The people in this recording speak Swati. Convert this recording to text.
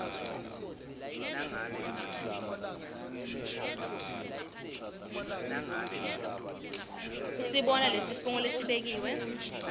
usibona lesifungo lesibekiwe